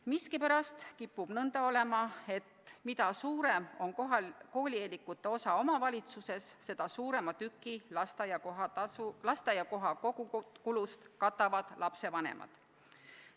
Miskipärast kipub nõnda olema, et mida suurem on koolieelikute osakaal omavalitsuse elanikkonnas, seda suurema osa lasteaiakoha kogukulust katavad lapsevanemad.